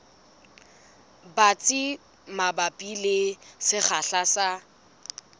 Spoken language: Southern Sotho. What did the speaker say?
batsi mabapi le sekgahla sa